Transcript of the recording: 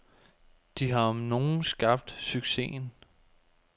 De har om nogen skabt succesen.